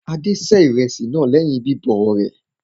Adé se ìrẹsì lẹ́yìn bíbọ̀ rẹ̀.